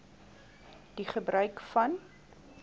die gebruik van